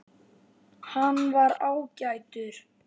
Hann var ágætur